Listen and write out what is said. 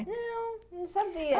Não, não sabia.